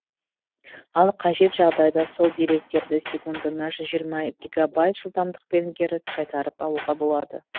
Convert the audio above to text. ал қажет жағдайда сол деректерді секундына жүз жиырма гигабайт жылдамдықпен кері қайтарып алуға болады